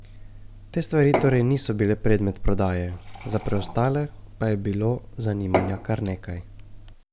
Te stvari torej niso bile predmet prodaje, za preostale pa je bilo zanimanja kar nekaj.